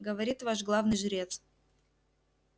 говорит ваш главный жрец